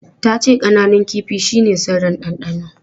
Ta ce ƙananun kifin shine sirrin dandano.